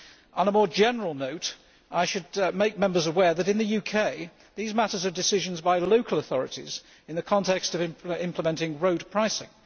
On a more general note, I should make Members aware that, in the UK, these matters are decisions for local authorities in the context of implementing road pricing.